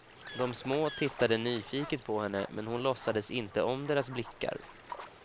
De små tittade nyfiket på henne, men hon låtsades inte om deras blickar.